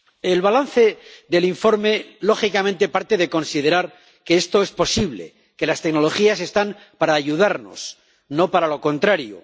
El balance del informe, lógicamente, parte de considerar que esto es posible, que las tecnologías están para ayudarnos, no para lo contrario.